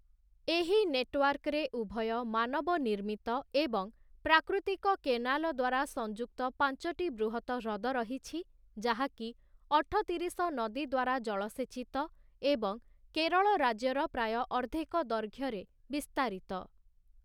ଏହି ନେଟୱାର୍କରେ ଉଭୟ ମାନବ ନିର୍ମିତ ଏବଂ ପ୍ରାକୃତିକ କେନାଲ ଦ୍ୱାରା ସଂଯୁକ୍ତ ପାଞ୍ଚଟି ବୃହତ ହ୍ରଦ ରହିଛି, ଯାହାକି ଅଠତିରିଶ ନଦୀ ଦ୍ୱାରା ଜଳସେଚିତ ଏବଂ କେରଳ ରାଜ୍ୟର ପ୍ରାୟ ଅର୍ଦ୍ଧେକ ଦୈର୍ଘ୍ୟରେ ବିସ୍ତାରିତ ।